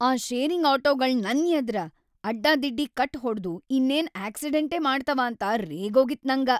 ಆ ಶೇರಿಂಗ್‌ ಆಟೋಗಳ್‌ ನನ್‌ ಎದ್ರ ಅಡ್ಡಾದಿಡ್ಡಿ ಕಟ್‌ ಹೊಡ್ದು ಇನ್ನೇನ ಆಕ್ಸಿಡೆಂಟೇ ಮಾಡ್ತಾವ ಅಂತ ರೇಗೋಗಿತ್ತ್‌ ನಂಗ.